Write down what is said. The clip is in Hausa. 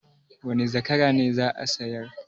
Wane zakara ne za a sayar?